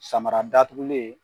Samara datugulen